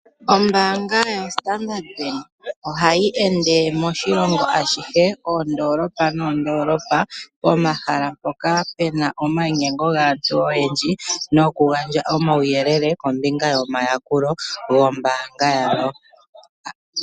Ombaanga ya Standard ohayi ende moshilongo ashihe, moondoolopa pomahala mpoka Pena omainyengo gaantu oyendji tayagandja omauyelele kombinga yomayakulo gombaanga ndjika.